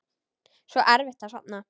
Svo erfitt að sofna.